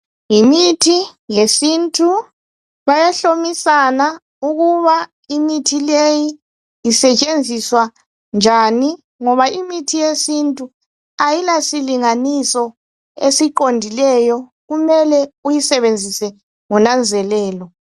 Imithi yesintu bayahlomisana ukuba imithi leyi isetshenziswa njani ngoba imithi yesintu ayila silinganiso esiqondileyo kumele uyisebenzise ngonanzelelo